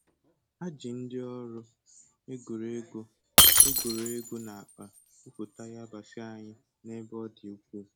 Ha ji ndi ọrụ e goro ego e goro ego na akpa gwupute yabasị anyị n'ebe ọ dị ukwuu